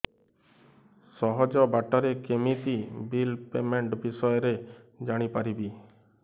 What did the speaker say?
ସହଜ ବାଟ ରେ କେମିତି ବିଲ୍ ପେମେଣ୍ଟ ବିଷୟ ରେ ଜାଣି ପାରିବି